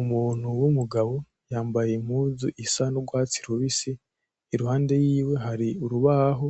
Umuntu w’umugabo yambaye impunzu isa n’urwatsi rubisi iruhande yiwe ari urubaho